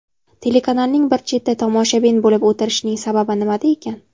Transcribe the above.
Telekanalning bir chetda tomoshabin bo‘lib o‘tirishining sababi nimada ekan?